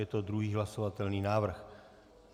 Je to druhý hlasovatelný návrh.